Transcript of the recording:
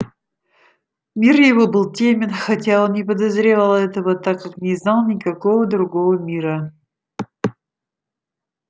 мир его был тёмен хотя он не подозревал этого так как не знал никакого другого мира